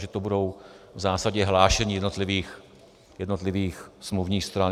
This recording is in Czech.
Takže to budou v zásadě hlášení jednotlivých smluvních stran.